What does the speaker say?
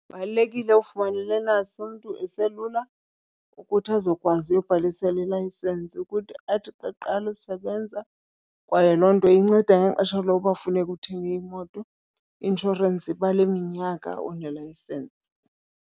Kubalulekile ufumana i-learners umntu eselula ukuthi azokwazi uyobhalisela ilayisensi ukuthi athi xa eqala usebenza. Kwaye loo nto inceda ngexesha loba funeke uthenge imoto, i-inshorensi ibala iminyaka unelayisensi.